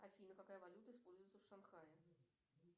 афина какая валюта используется в шанхае